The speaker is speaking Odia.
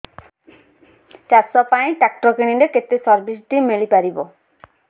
ଚାଷ ପାଇଁ ଟ୍ରାକ୍ଟର କିଣିଲେ କେତେ ସବ୍ସିଡି ମିଳିପାରିବ